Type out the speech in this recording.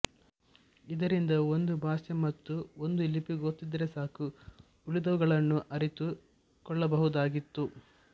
ಇದರಿಂದ ಒಂದು ಭಾಷೆ ಮತ್ತು ಒಂದು ಲಿಪಿ ಗೊತ್ತಿದ್ದರೂ ಸಾಕು ಉಳಿದವುಗಳನ್ನು ಅರಿತು ಕೊಳ್ಳಬಹುದಾಗಿತ್ತು